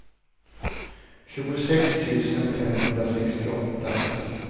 tjugosex tusen femhundrasextioåtta